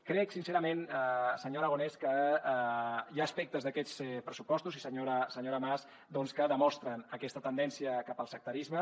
crec sincerament senyor aragonès que hi ha aspectes d’aquests pressupostos i senyora mas doncs que demostren aquesta tendència cap al sectarisme